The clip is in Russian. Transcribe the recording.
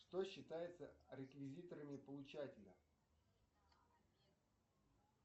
что считается реквизиторами получателя